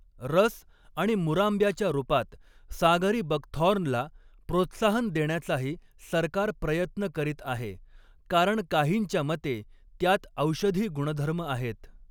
रस आणि मुरांब्याच्या रूपात 'सागरी बकथॉर्न'ला प्रोत्साहन देण्याचाही सरकार प्रयत्न करीत आहे, कारण काहींच्या मते त्यात औषधी गुणधर्म आहेत.